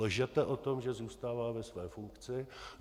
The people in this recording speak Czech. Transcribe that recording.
Lžete o tom, že zůstává ve své funkci.